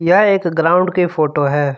यह एक ग्राउंड के फोटो है।